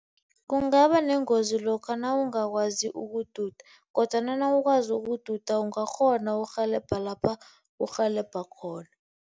Kungaba nengozi lokha nawungakwazi ukududa kodwana nawukwazi ukududa ungakghona ukurhelebha lapha urhelebha khona.